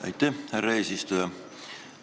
Aitäh, härra eesistuja!